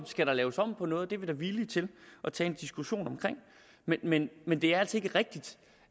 skal laves om på noget det er vi da villige til at tage en diskussion om men men det er altså ikke rigtigt